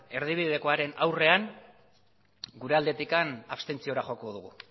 erdibidekoaren aurrean gure aldetik abstentziora joko dugu